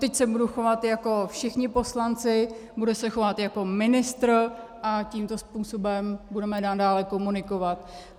Odteď se budu chovat jako všichni poslanci, budu se chovat jako ministr a tímto způsobem budeme nadále komunikovat.